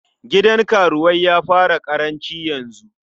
Gidan karuwai ya fara ƙaranci yanzu.